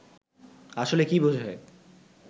আসলে কি বোঝায়